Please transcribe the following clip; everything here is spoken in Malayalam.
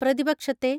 പ്രതിപക്ഷത്തെ